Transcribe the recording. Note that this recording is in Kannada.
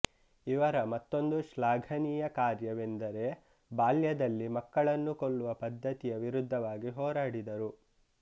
ಇವರ ಮತ್ತೊಂದು ಶ್ಲಾಘನೀಯ ಕಾರ್ಯವೆಂದರೆಬಾಲ್ಯದಲ್ಲಿ ಮಕ್ಕಳನ್ನು ಕೊಲ್ಲುವ ಪದ್ಧತಿಯ ವಿರುದ್ಧವಾಗಿ ಹೋರಾಡಿದರು